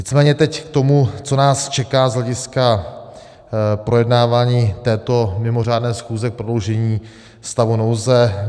Nicméně teď k tomu, co nás čeká z hlediska projednávání této mimořádné schůze k prodloužení stavu nouze.